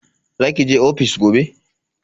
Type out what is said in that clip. Za ki je ofis gobe?